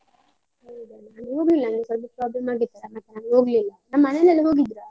ಹೌದಾ? ನಾನ್ ಹೋಗ್ಲಿಲ್ಲ ನಂಗೆ ಸ್ವಲ್ಪ problem ಆಗಿತ್ತು, ಅದ್ಕೆ ನಾನ್ ಹೋಗ್ಲಿಲ್ಲ. ನಮ್ ಮನೆಯಲ್ಲೆಲ್ಲ ಹೋಗಿದ್ರಾ.